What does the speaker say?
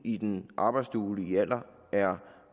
i den arbejdsduelige alder er